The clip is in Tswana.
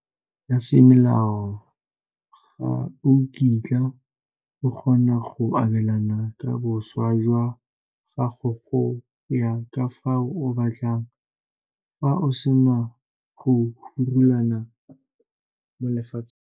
Fa o sena wili ya semolao ga o kitla o kgona go abelana ka boswa jwa gago go ya ka fao o batlang fa o sena go hulara mo lefatsheng.